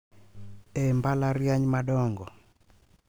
E mbalariany madongo,